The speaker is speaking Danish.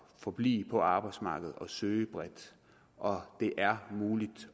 forblive på arbejdsmarkedet og søge bredt og det er muligt